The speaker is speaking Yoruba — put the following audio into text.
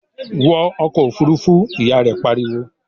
"Wọ ọkọ̀ Òfurufú!", Ìyá rẹ̀ pariwo